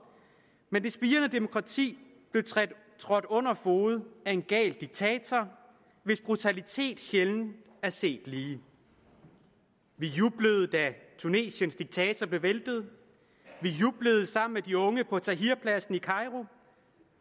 men det spirende demokrati blev trådt under fode af en gal diktator hvis brutalitet sjældent er set lige vi jublede da tunesiens diktator blev væltet vi jublede sammen med de unge på tahrirpladsen i cairo